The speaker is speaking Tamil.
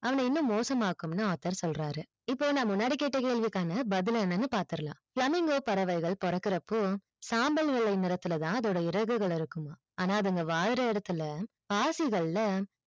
அவன இன்னும் மோசம் ஆகும்னு author சொல்றாரு இப்போ நான் முன்னாடி கேட்ட கேள்விக்கான பதில் என்னனு பாத்துறலாம் flamingo பறவைகள் போறக்குறப்போ சாம்பல் வெள்ளை நிறத்துல தான் அதோட இறகுகள் இருக்குமாம் ஆனா அதுங்க வாழுற இடத்துல பாசிகல்ல